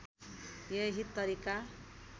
यही तरिका